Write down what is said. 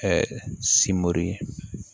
simori ye